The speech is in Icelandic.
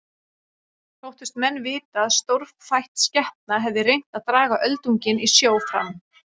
Þóttust menn vita að stórfætt skepna hefði reynt að draga öldunginn í sjó fram.